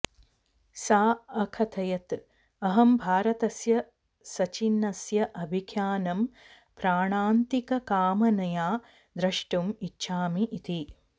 सा अकथयत् अहं भारतस्य सचिनस्य अभिख्यानं प्राणान्तिककामनया द्रष्टुम् इच्छामि इति